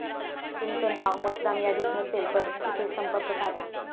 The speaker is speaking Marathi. तुमचं नाव मतदानयादीत नसेल, तर इथे संपर्क साधा!